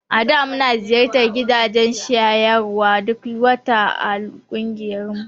A da muna ziyartar gidajen shayarwa duk wata a ƙungiyarmu.